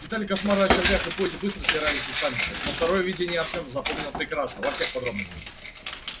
детали кошмара о червях и поезде быстро стирались из памяти но второе видение артём запомнил прекрасно во всех подробностях